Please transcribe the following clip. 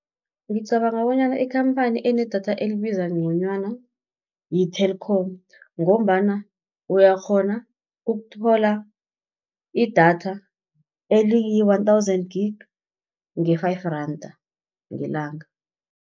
Ngicabanga bonyana ikhamphani enedatha elibiza nconywana yi-Telkom, ngombana uyakghona ukuthola idatha eliyi-one thousand gig, nge-five randa ngelanga.